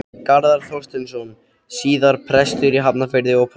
Garðar Þorsteinsson, síðar prestur í Hafnarfirði og prófastur.